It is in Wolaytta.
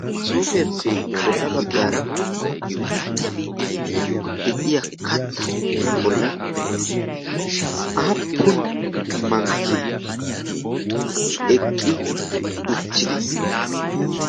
Masoofiyaappe bolla baggaara de'iya kattatu bollan aappun mankki eqqi uttidi